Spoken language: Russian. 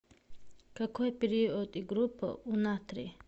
какой период и группа у натрий